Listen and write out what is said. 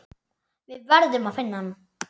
Við verðum að finna hann.